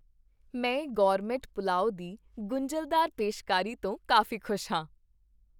ਮੈਂ ਗੋਰਮੇਟ ਪੁਲਾਓ ਦੀ ਗੁੰਝਲਦਾਰ ਪੇਸ਼ਕਾਰੀ ਤੋਂ ਕਾਫ਼ੀ ਖੁਸ਼ ਹਾਂ।